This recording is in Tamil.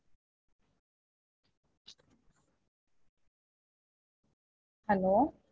Hello